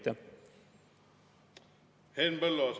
Henn Põlluaas, palun!